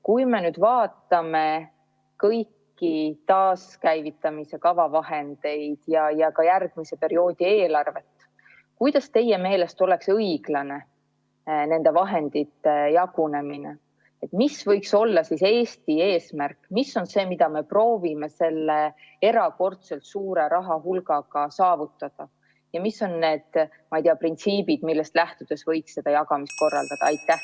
Kui me vaatame kõiki taaskäivitamise kava vahendeid ja ka järgmise perioodi eelarvet, siis milline teie meelest oleks õiglane nende vahendite jagunemine, mis võiks olla Eesti eesmärk, mis on see, mida me proovime selle erakordselt suure rahahulgaga saavutada, ja mis on need printsiibid, millest lähtudes võiks seda jagamist korraldada?